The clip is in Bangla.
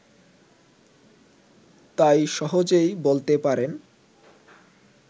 তাই সহজেই বলতে পারেন